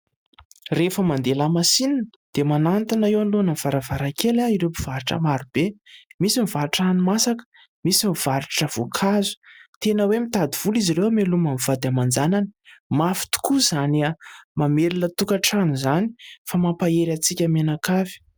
Rehefa mandeha lamasinina dia manatona eo anoloanan'ny varavarakely ahy ireo mpivarotra maro be. Misy mivarotra hani-masaka, misy mivarotra voankazo...Tena hoe mitady vola izy ireo hamelomany ny vady aman-janany. Mafy tokoa izany mamelona tokantrano izany fa mampahery antsika mianakavy.